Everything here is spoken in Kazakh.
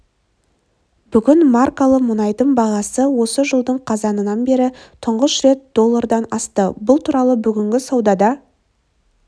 бүгін маркалы мұнайдың бағасы осы жылдың қазанынан бері тұңғыш рет доллардан асты бұл туралы бүгінгі саудада